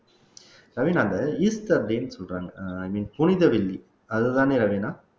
ரவினா அந்த ஈஸ்டர் அப்படின்னு சொல்றாங்க i mean புனித வெள்ளி அதுதானே ரவீனா